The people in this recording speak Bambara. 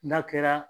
N'a kɛra